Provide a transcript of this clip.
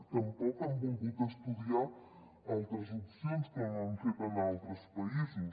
tampoc han volgut estudiar altres opcions com han fet en altres països